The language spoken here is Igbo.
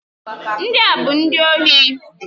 Ndị a bụ ndị ohu.